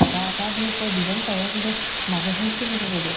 এটা এটা দি উপৰত design কৰে, কিন্তু মাজৰ খিনিত চিঙ্গি চিঙ্গি দিয়া।